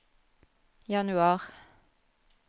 januar